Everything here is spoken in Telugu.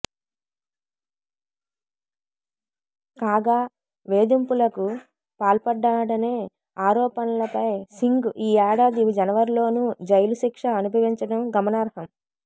కాగా వేధింపులకు పాల్పడ్డాడనే ఆరోపణలపై సింగ్ ఈ ఏడాది జనవరిలోనూ జైలు శిక్ష అనుభవించడం గమనార్హం